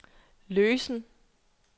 løsen